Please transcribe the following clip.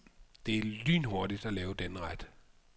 Det er lynhurtigt at lave denne ret.